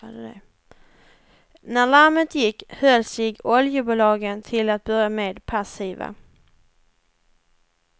När larmet gick höll sig oljebolagen till att börja med passiva.